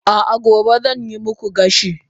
a'a gobe zan yi muku gashi